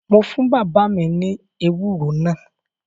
Mo fún bàbá mi ní ewúro náà